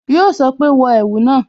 Yo sọ pé "wọ ẹ̀wù náà"